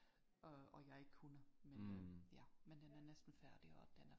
Øh og jeg ikke kunne men øh ja men den er næsten færdig og den er